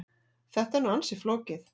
Þetta er nú ansi flókið.